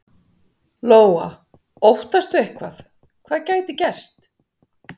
Lóa: Óttastu eitthvað, hvað gæti gerst?